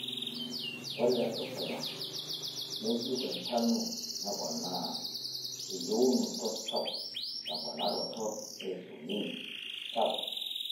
Ore tedukuya neyieu entanu neponaa eyieunoto sapuk temponaroto einsulin sapuk.